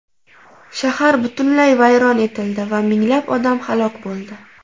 Shahar butunlay vayron etildi va minglab odam halok bo‘ldi.